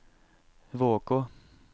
Vågå